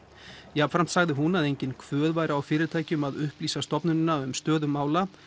jafnframt sagði hún að engin kvöð væri á fyrirtækjum að upplýsa stofnunina um stöðu mála